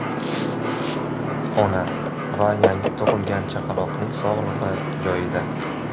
Ona va yangi tug‘ilgan chaqaloqning sog‘lig‘i joyida.